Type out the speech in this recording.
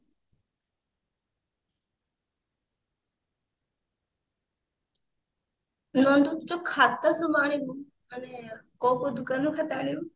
ନନ୍ଦୁ ତୁ ଖାତା ସବୁ ଆଣିବୁ ମାନେ କୋଉ କୋଉ ଦୋକାନରୁ ଖାତା ଆଣିବୁ